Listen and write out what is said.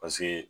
Paseke